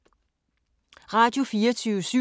Radio24syv